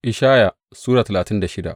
Ishaya Sura talatin da shida